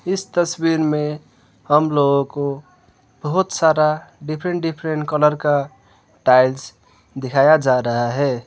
इस तस्वीर में हम लोगों को बहोत सारा डिफरेंट डिफरेंट कलर का टाइल्स दिखाया जा रहा है।